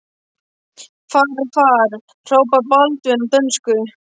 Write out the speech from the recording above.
Far, far, hrópaði Baldvin á dönsku.